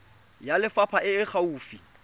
ya lefapha e e gaufi